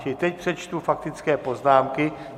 Čili teď přečtu faktické poznámky...